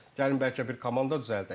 Gəlin bəlkə bir komanda düzəldək.